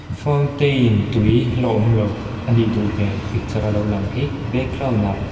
fountain tui la awm lo anih duh hmel picturea lo lang hi backgroundah --